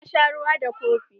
Na sha ruwa da kofi.